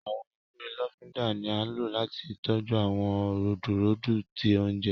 Awọn ewé lofinda ní a ló láti tọjú awọn rudurudu tí oúnjẹ